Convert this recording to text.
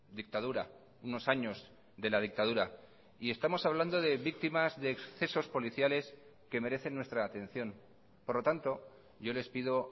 dictadura unos años de la dictadura y estamos hablando de víctimas de excesos policiales que merecen nuestra atención por lo tanto yo les pido